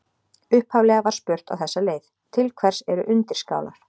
Upphaflega var spurt á þessa leið: Til hvers eru undirskálar?